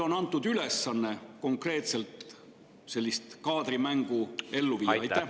… on antud ülesanne konkreetselt sellist kaadrimängu ellu viia?